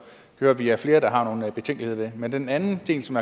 hører at vi er flere der har nogle betænkeligheder men den anden del som